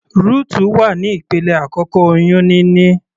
Rutu wà ní ìpele àkọ́kọ́ oyún níní.